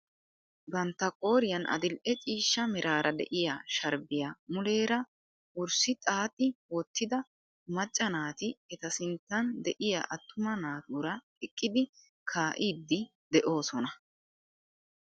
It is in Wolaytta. Bantta qooriyaan adil'e ciishsha meraara de'iyaa sharbbiyaa muleera wurssi xaaxi wottida macca naati eta sinttan de'iyaa attuma naatura eqqidi kaa"iidi de'oosona.